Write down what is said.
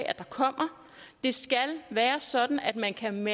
at det kommer det skal være sådan at man kan